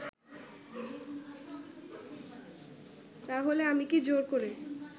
তাহলে আমি কি জোর করে